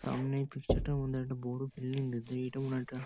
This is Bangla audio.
সামনে পিকচার -টার মধ্যে একটা বড়ো বিল্ডিং এটা মনে হয় একটা--